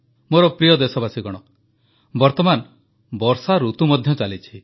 ମୋର ପ୍ରିୟ ଦେଶବାସୀଗଣ ବର୍ତ୍ତମାନ ବର୍ଷାଋତୁ ମଧ୍ୟ ଚାଲିଛି